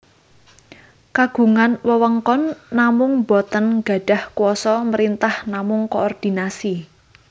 Kagungan wewengkon namung boten gadhah kuasa mrintah namung koordinasi